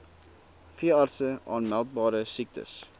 veeartse aanmeldbare siektes